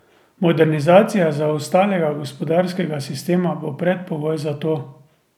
Modernizacija zaostalega gospodarskega sistema bo predpogoj za to.